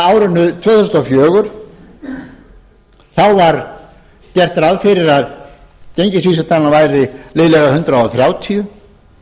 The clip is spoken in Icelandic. árinu tvö þúsund og fjögur var gert ráð fyrir að gengisvísitalan væri liðlega hundrað þrjátíu